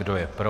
Kdo je pro?